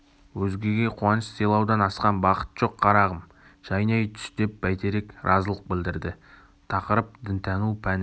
өзгеге қуаныш сыйлаудан асқан бақыт жоқ қарағым жайнай түс деп бәйтерек разылық білдірді тақырып дінтану пәні